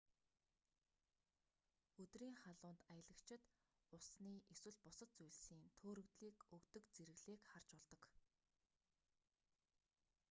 өдрийн халуунд аялагчид усны эсвэл бусад зүйлсийн төөрөгдлийг өгдөг зэрэглээг харж болдог